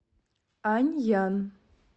аньян